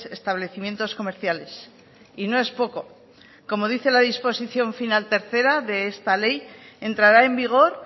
establecimientos comerciales y no es poco como dice la disposición final tercera de esta ley entrará en vigor